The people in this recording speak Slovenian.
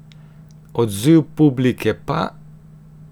Odziv publike pa...